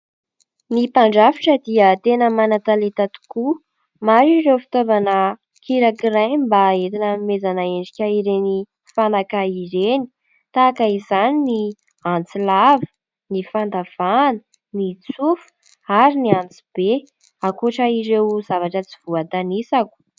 Ny mpandrafitra dia tena manan-taleta tokoa. Maro ireo fitaovana kirakiraina mba entina anomezana endrika ireny fanaka ireny tahaka izany ny antsy lava, ny fandavahana, ny tsofa ary ny antsy be, ankoatra ireo zavatra tsy voatanisako.